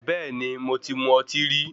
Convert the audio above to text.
Bẹ́ẹ̀ni, mo ti mu ọtí rí.